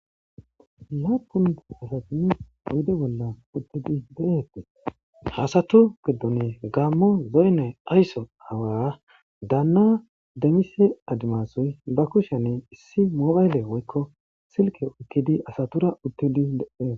Lappun asti oyide bolla uttidi de'etes ha asatu gidoni gamo woyinne ayiso awa Dana damise adumasuyi bakusheni issi mobile woyikko Silke oyikidi asatura utdi de'es.